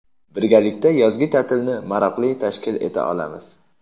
Birgalikda yozgi taʼtilni maroqli tashkil eta olamiz.